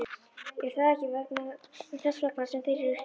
Er það ekki þess vegna sem þeir eru hérna?